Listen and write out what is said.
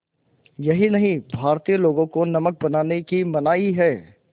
यही नहीं भारतीय लोगों को नमक बनाने की मनाही है